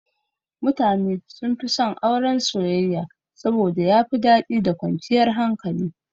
Mutane sunfi son Auren soyayya saboda yafi daɗi da kwanciyar hankali.